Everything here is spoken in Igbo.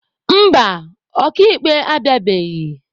Mba, ọka ikpe abịabeghị.